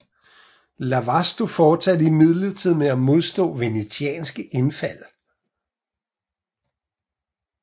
Lastovo fortsatte imidlertid med at modstå venetianske indfald